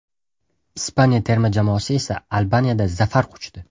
Ispaniya terma jamoasi esa Albaniyada zafar quchdi.